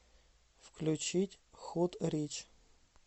включить худ рич